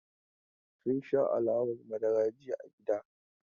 Sun sha alawar madara jiya a gida.